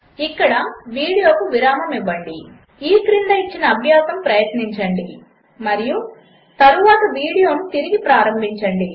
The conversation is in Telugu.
ఇక్కడ వీడియోకు విరామము ఇవ్వండి ఈ క్రింద ఇచ్చిన అభ్యాసము ప్రయత్నించండి మరియు తరువాత వీడియో తిరిగి ప్రారంభించండి